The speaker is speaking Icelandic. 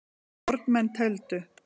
Fornmenn tefldu.